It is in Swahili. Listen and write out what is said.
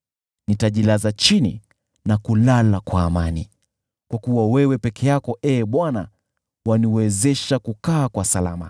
Nitajilaza chini na kulala kwa amani, kwa kuwa wewe peke yako, Ee Bwana , waniwezesha kukaa kwa salama.